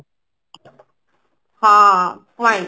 ହଁ point